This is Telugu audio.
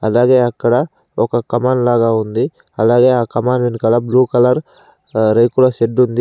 అలాగే అక్కడ ఒక కమాల్ లాగా ఉంది. అలాగే ఆ కమాల్ వెనకాల బ్లూ కలర్ ఆహ్ రేకుల షెడ్డు ఉంది.